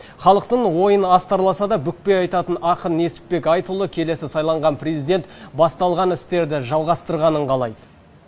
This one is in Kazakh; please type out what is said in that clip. халықтың ойын астарласа да бүкпей айтатын ақын несіпбек айтұлы келесі сайланған президент басталған істерді жалғастырғанын қалайды